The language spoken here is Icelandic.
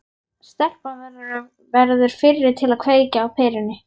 Stelpan verður fyrri til að kveikja á perunni.